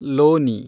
ಲೋನಿ